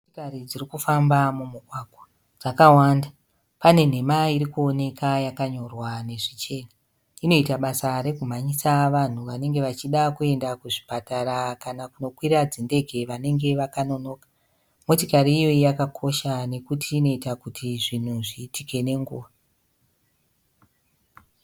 Motikari dzirikufamba mumugwagwa dzakawanda panenhema irikuoneka yakanyorwa nezvichena. Inoita basa rekumhanyisa vanhu vanenge vachida kuenda kuzvipatara kana kunokwira dzindege vanenge vakanonoka. Motikari iyoyi yakakosha nekuti inoita kuti zvinhu zviitike nenguva.